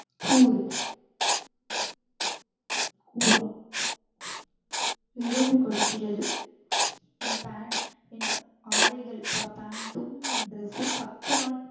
கூறு கூறா எறும்பு கடிக்கிறது. என் பேன்ட் என் ஆடைகள், பேன்ட்டும் dress உம் பத்து நாட்களாக